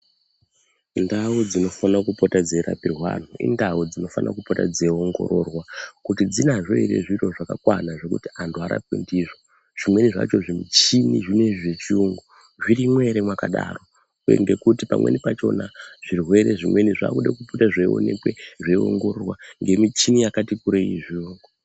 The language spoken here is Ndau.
Ndau dzinofana kupota dzeirapirwa antu indau dzinofanira kupota dzeiongororwa kuti dzinazvo ere zviro zvakakwana zvekuti antu arapwe ndizvo. Zvimweni zvacho zvimichini zvinoizvi zvechiyungu zvirimwo ere mwakadaro, uye ngekuti pamweni pachona zvirwere zvimweni zvakude kupote zveionekwe zveiongororwa ngemichini yakati kurei zvo.